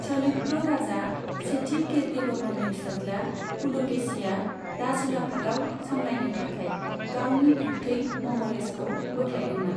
चालुक्य राजा सेथि कीर्तिवर्मननि फिसाज्ला पुलकेशीया राजउलाफाद सामलायनो थाखाय गावनि बिब्थै मंगलेशखौ बोख्लायदोंमोन।